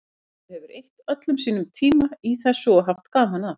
Maður hefur eytt öllum sínum tíma í þessu og haft gaman að.